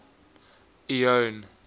leone